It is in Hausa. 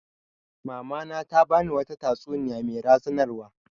Mama na ta ba ni wata tatsuniya mai razanarwa